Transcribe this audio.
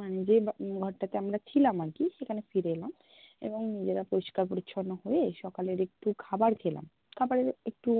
মানে যে ঘরটাতে আমরা ছিলাম আরকি, সেখানে ফিরে এলাম এবং নিজেরা পরিশ্কার-পরিচ্ছন্ন হয়ে সকালের একটু খাবার খেলাম, খাবারের একটু